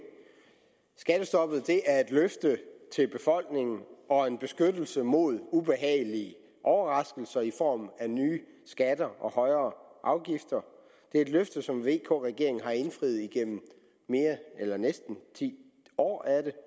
skattestoppet er et løfte til befolkningen og en beskyttelse mod ubehagelige overraskelser i form af nye skatter og højere afgifter det er et løfte som vk regeringen har indfriet igennem næsten ti år